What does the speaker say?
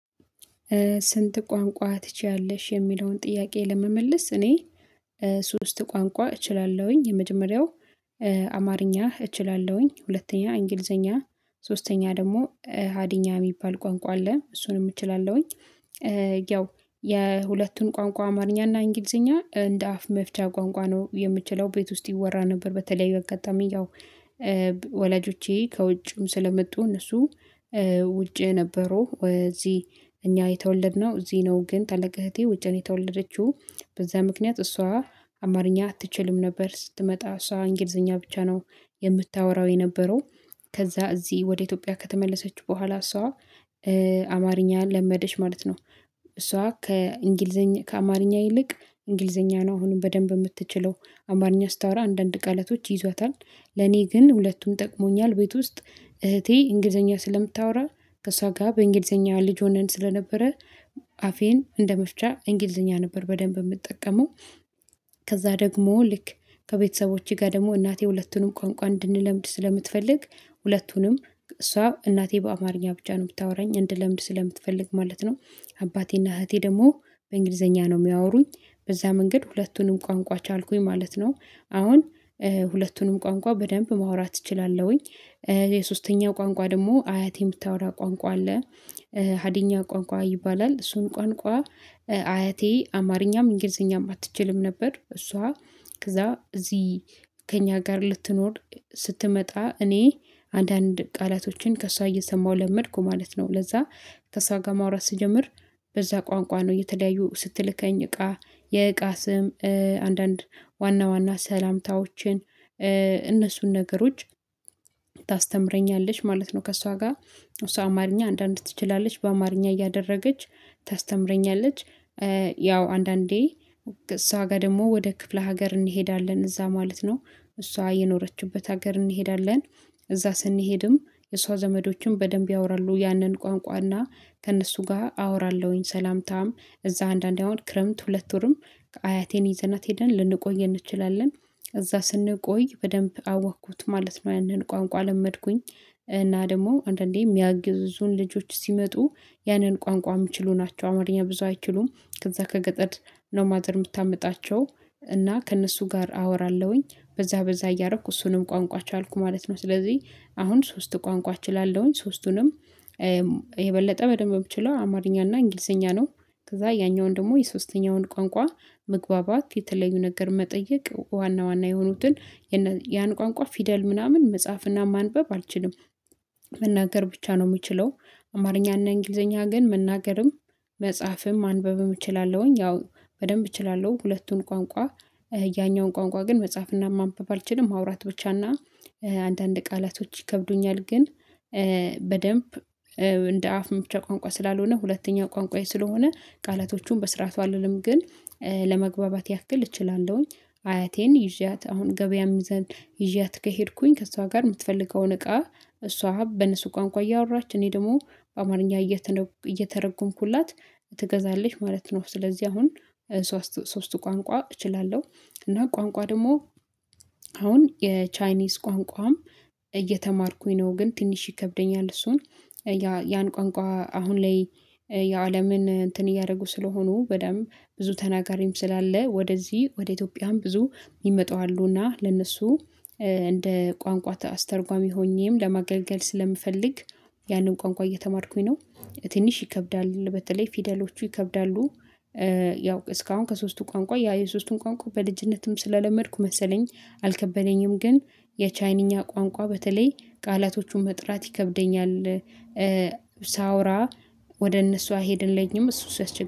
ስንት ቋንቋ ትችያለሽ? የሚለውን ጥያቄ ለመመለስ እኔ ሶስት ቋንቋ እችላለሁኝ የመጀመሪያው አማርኛ እችላለሁኝ፣ ሁለተኛ እንግሊዘኛ፣ ሶስተኛ ደግሞ ሀዲኛ የሚባል ቋንቋ አለ እሱንም እችላለሁኝ። ያው የሁለቱን ቋንቋ አማርኛ እና እንግሊዘኛ እንደ አፍ መፍቻ ቋንቋ ነው የምችለው ቤት ውስጥ ይወራ ነበር በተለይ ባጋጣሚ ወላጆቼ ከውጭም ስለመጡ እነሱ ውጭ ነበሩ እዚህ እኛ የተወለድነው እዚህ ነው ግን ታለቀ እህቴ ውጭ ነው የተወለደችው በዛ ምክንያት እሷ አማርኛ አትችልም ነበር ስትመጣ እሷ እንግሊዘኛ ብቻ ነው የምታወራው የነበረው ከዛ እዚህ ወደ ኢትዮጵያ ከተመለሰች በኋላ እሷ አማርኛ ለመደች ማለት ነው፣ እሷ ከእንግሊዘኛ ከአማርኛ ይልቅ እንግሊዘኛ ነው አሁንም በደንብ የምትችለው አማርኛ ስታወራ አንዳንድ ቃላቶች ይያዟታል ለኔ ግን ሁለቱም ጠቅሞኛል ቤት ውስጥ እህቴ እንግሊዘኛ ስለምታወራ ከእሷ ጋር በእንግሊዘኛ ልጅ ሆነን ስለነበረ አፌን እንደመፍቻ እንግሊዘኛ ነበር በደንብ የምጠቀመው ከዛ ደግሞ ልክ ከቤተሰቦቼ ጋር ደግሞ እናቴ ሁለቱንም ቋንቋ እንድንለምድ ስለምትፈልግ ሁለቱንም እሷ እናቴ በአማርኛ ብቻ ነው የምታዎራኝ ምታወራኝ እንድለምድ ስለምትፈልግ ማለት ነው አባቴና እህቴ ደግሞ በእንግሊዘኛ ነው የሚያወሩኝ በዛ መንገድ ሁለቱንም ቋንቋ ቻልኩኝ ማለት ነው አሁን ሁለቱንም ቋንቋ በደንብ ማውራት እችላለሁኝ። የሶስተኛው ቋንቋ ደግሞ አያቴ የምታወራው ቋንቋ አለ ሀዲኛ ቋንቋ ይባላል እሱን ቋንቋ አያቴ አማርኛም፣ እንግሊዘኛም አትችልም ነበር እሷ እዛ እዚህ ከእኛ ጋር ልትኖር ስትመጣ እኔ አንዳንድ ቃላቶችን ከእሷ እየሰማሁ ለመድኩ ማለት ነው ለዛ ከሷ ጋር ማውራት ስጀምር በዛ ቋንቋ ነው፣ የተለያዩ ስትልከኝ እቃ የእቃ ስም አንዳንድ ዋና ዋና ሰላምታዎችን፣ እነሱን ነገሮች ታስተምረኛለች ማለት ነው ከእሷ ጋር እሷ አማርኛ አንዳንድ ትችላለች በአማርኛ እያደረገች ታስተምረኛለች ያው አንዳንዴ እሷ ጋር ደግሞ ወደ ክፍለ ሀገር እንሄዳለን እዛ ማለት ነው እሷ የኖረችበት ሀገር እንሄዳለን እዛ ስንሄድም የሷ ዘመዶችም በደንብ ያወራሉ ያንን ቋንቋና ከእነሱ ጋር አወራለሁኝ ሰላምታም እዛ አንዳንዴ አሁን ክረምት ሁለት ወርም አያቴን ይዘናት ሄደን ልንቆይ እንችላለን እዛ ስንቆይ በደንብ አወቅኩት ማለት ነው ያንን ቋንቋ ለመድኩኝ እና ደግሞ አንዳንዴ የሚያግዙኝ ልጆች ሲመጡ ያንን ቋንቋ የሚችሉ ናቸው አማርኛ ብዙ አይችሉም ከዛ ከገጠር ነው ማደር የምታመጣቸው እና ከእነሱ ጋር አወራለሁኝ፣ በዛ በዛ እያረኩ እሱንም ቋንቋ ቻልኩ ማለት ነው ስለዚህ አሁን ሶስት ቋንቋ እችላለሁኝ ሶስቱንም የበለጠ በደንብ የምችለው አማርኛና እንግሊዘኛ ነው ከዛ ያኛውን ደግሞ የሶስተኛውን ቋንቋ መግባባት የተለዩ ነገር መጠየቅ ዋና ዋና የሆኑትን ያን ቋንቋ ፊደል ምናምን መጻፍና ማንበብ አልችልም፣ መናገር ብቻ ነው የምችለው አማርኛና እንግሊዘኛ ግን መናገርም፣ መጽሐፍም፣ ማንበብም እችላለሁኝ ያው በደንብ እችላለሁ ሁለቱን ቋንቋ ያኛውን ቋንቋ ግን መጽሐፍና ማንበብ አልችልም ማውራት ብቻና አንዳንድ ቃላቶች ይከብዱኛል ግን በደንብ እንደ አፍ መፍቻዬ ቋንቋ ስላልሆነ ሁለተኛ ቋንቋዬ ስለሆነ ቃላቶቹን በስርዓቱ አልልም ግን ለመግባባት ያክል እችላለሁኝ። አያቴን ይዣት አሁን ገበያም ዘንድ ይዣት ከሄድኩኝ ከእሷ ጋር የምትፈልገውን እቃ እሷ በእነሱ ቋንቋ እያወራች እኔ ደግሞ በአማርኛ እየተረጎምኩላት ትገዛለች ማለት ነው ስለዚህ አሁን ሶስቱ ቋንቋ እችላለሁ እና ቋንቋ ደግሞ አሁን የቻይኒዝ ቋንቋም እየተማርኩኝ ነው ግን ትንሽ ይከብደኛል እሱን ያን ቋንቋ አሁን ላይ የአለምን እንትን እያደረጉ ስለሆኑ በደንብ ብዙ ተናጋሪም ስላለ ወደዚህ ወደ ኢትዮጵያም ብዙ የሚመጣው አሉና ለነሱ እንደ ቋንቋ አስተርጓሚ ሆኜም ለማገልገል ስለምፈልግ ያንን ቋንቋ እየተማርኩኝ ነው። ትንሽ ይከብዳል፣ በተለይ ፊደሎቹ ይከብዳሉ፣ ያው እስካሁን ከሶስቱ ቋንቋ ያ የሶስቱን ቋንቋ በልጅነትም ስለለመድኩ መሰለኝ አልከበለኝም ግን የቻይንኛ ቋንቋ በተለይ ቃላቶቹን መጥራት ይከብደኛል፣ ሳወራ ወደ እነሱ አይሄድልኝም እሱ ሲያስቸግር